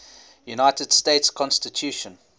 united states constitution